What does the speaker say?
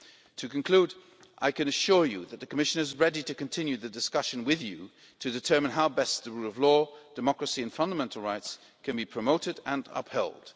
To conclude, I can assure you that the Commission is ready to continue the discussion with you to determine how best the rule of law, democracy and fundamental rights can be promoted and upheld.